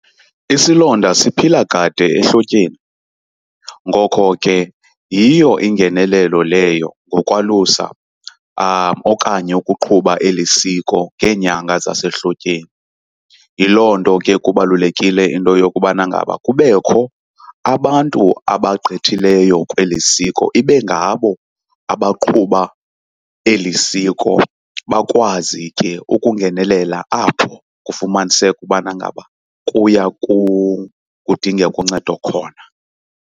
Isilonda siphila kade ehlotyeni, ngokho ke yiyo ingenelelo leyo ngokwalusa okanye ukuqhuba eli siko ngeenyanga zasehlotyeni. Yiloo nto ke kubalulekile into yokubana ngaba kubekho abantu abagqithileyo kweli siko, ibe ngabo abaqhuba eli siko bakwazi ke ukungenelela apho kufumaniseka ubana ngaba kuya kudingeka uncedo khona.